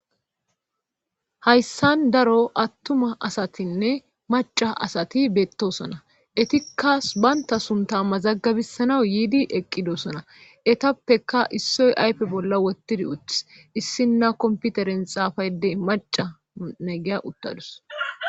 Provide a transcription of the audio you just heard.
hayssan daro attuma asatinne maca asati beettosona etikka banta sunta mazaggabissanaw yiidi eqqidosona etappeka issoy aype bolla wottidi utis issinna komputeren xaafaydey maca ne'iya uttadus